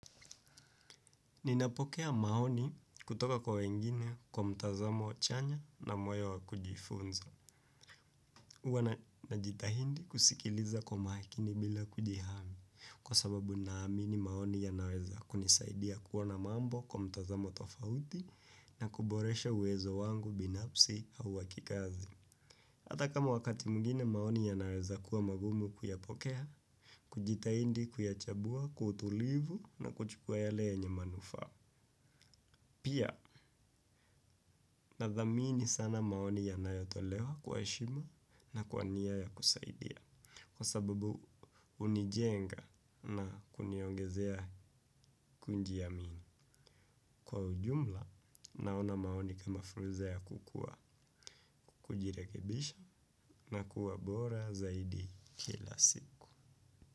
Ninapokea maoni kutoka kwa wengine kwa mtazamo chanya na moyo wa kujifunza. hUwa najitahidi kusikiliza kwa makini bila kujihami kwa sababu naamini maoni yanaweza kunisaidia kuona mambo kwa mtazamo tofauti na kuboresha uwezo wangu binafsi au wa kikazi. Ata kama wakati mwingine maoni yanaweza kuwa magumu kuyapokea, kujitahidi kuyachambua, kwa utulivu na kuchukua yale yenye manufaa. Pia nadhamini sana maoni yanayotolewa kwa heshima na kwa nia ya kusaidia. Kwa sababu hunijenga na kuniongezea kujiamini. Kwa ujumla naona maoni kama fursa ya kukua kujirekebisha na kuwa bora zaidi kila siku.